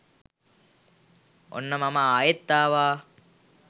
ඔන්න මම ආයෙත් ආවා